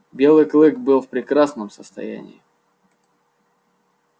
белый клык был в прекрасном состоянии